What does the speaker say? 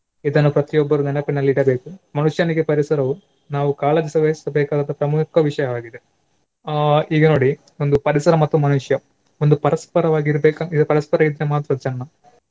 ಇದನ್ನು ಪ್ರತಿಯೊಬ್ಬರೂ ನೆನಪಿನಲ್ಲಿ ಇಡಬೇಕು. ಮನುಷ್ಯನಿಗೆ ಪರಿಸರವು ನಾವು ಕಾಳಜಿಸ ವಹಿಸಬೇಕಾದಂತ ಪ್ರಮುಖ ವಿಷಯವಾಗಿದೆ. ಅಹ್ ಈಗ ನೋಡಿ ಒಂದು ಪರಿಸರ ಮತ್ತು ಮನುಷ್ಯ ಒಂದು ಪರಸ್ಪರವಾಗಿ ಇರ್ಬೇಕಾ ಈಗ ಪರಸ್ಪರ ಇದ್ರೆ ಮಾತ್ರ ಚೆನ್ನ.